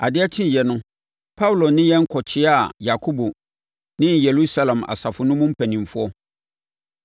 Adeɛ kyeeɛ no, Paulo ne yɛn kɔkyeaa Yakobo ne Yerusalem asafo no mu mpanimfoɔ.